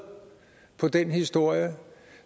på den historie